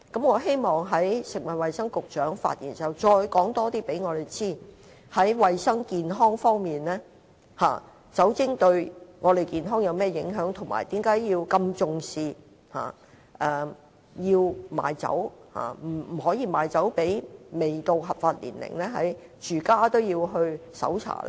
我希望食物及衞生局局長在稍後發言時，可告訴我們更多在衞生健康方面，酒精對我們的健康有甚麼影響，以及為何要如此重視不能賣酒予未滿合法年齡的人，甚至連住所也要搜查呢？